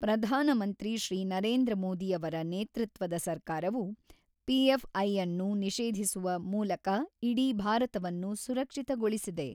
ಪ್ರಧಾನಮಂತ್ರಿ ಶ್ರೀ ನರೇಂದ್ರ ಮೋದಿಯವರ ನೇತೃತ್ವದ ಸರ್ಕಾರವು ಪಿಎಫ್ಐಅನ್ನು ನಿಷೇಧಿಸುವ ಮೂಲಕ ಇಡೀ ಭಾರತವನ್ನು ಸುರಕ್ಷಿತಗೊಳಿಸಿದೆ